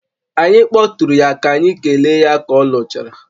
Anyị kpọtụụrụ ya ka anyị kelee ya ka ọ lụchara